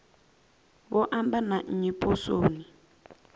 vho amba na nnyi poswoni